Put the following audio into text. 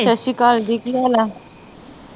ਸੱਸੀਕਾਲ ਜੀ, ਕੀ ਹਾਲ ਆ